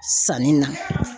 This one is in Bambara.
Sanni na